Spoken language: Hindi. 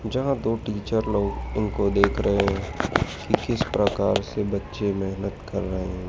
जहां दो टीचर लोग इनको देख रहे हैं कि किसी प्रकार से बच्चे मेहनत कर रहे हैं।